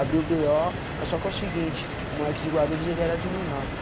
Abriu o bê ó, mas só que é o seguinte, o moleque de Guarulhos ele era de menor.